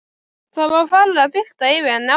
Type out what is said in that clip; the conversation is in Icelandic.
Það var farið að birta yfir henni aftur.